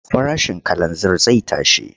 Farashin kalanzir zai tashi.